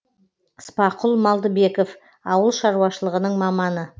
спақұл малдыбеков ауыл шаруашылығының маманы